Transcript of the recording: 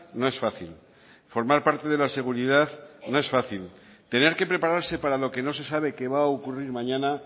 no es fácil formar parte de la seguridad no es fácil tener que prepararse para lo que no se sabe que va a ocurrir mañana